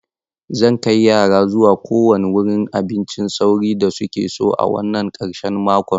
Zan kai yara zuwa kowane wurin abincin sauri da suke so a wannan ƙarshen makon.